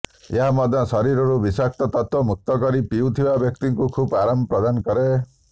ଏହା ମଧ୍ୟ ଶରୀରରୁ ବିଷାକ୍ତ ତତ୍ତ୍ବ ମୁକ୍ତ କରି ପିଉଥିବା ବ୍ୟକ୍ତିଙ୍କୁ ଖୁବ୍ ଆରାମ ପ୍ରଦାନ କରେ